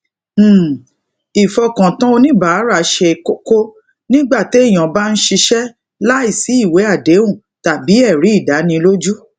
um ìfokatan oníbàárà ṣe kókó nígbà téèyàn bá ń ṣiṣé láìsí ìwé àdéhùn tàbí èrí ìdánilójú